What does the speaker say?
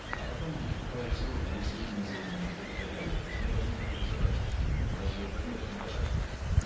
а потом вступают в силу там увеселительные заведения и и так далее то есть мы должны их оттуда забрать мы должны дать им площадку